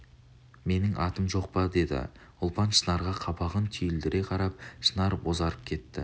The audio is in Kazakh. менің атым жоқ па деді ұлпан шынарға қабағын түйілдіре қарап шынар бозарып кетті